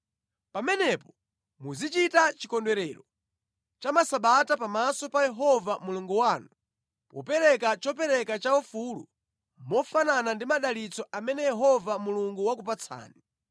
Pamenepo muzichita Chikondwerero cha Masabata pamaso pa Yehova Mulungu wanu popereka chopereka chaufulu mofanana ndi madalitso amene Yehova Mulungu wakupatsani